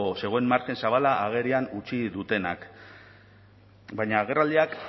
zegoen margen zabala agerian utzi dutenak baina agerraldiak